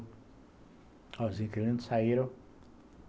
Ó, os inquilinos saíram.